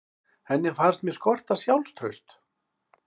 Henni fannst mig skorta sjálfstraust.